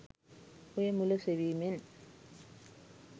ඔය මුල සෙවීමෙන්